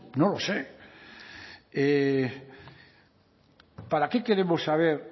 no lo sé para qué queremos saber